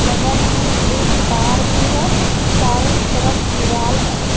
बगल मे एक कार भी है चारों तरफ दीवाल है।